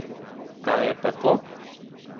Kaj je pa to?